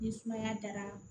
Ni sumaya dara